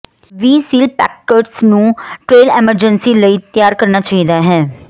ਵੀ ਸਿਲਪੈਕਕਰਸ ਨੂੰ trail emergency ਲਈ ਤਿਆਰ ਕਰਨਾ ਚਾਹੀਦਾ ਹੈ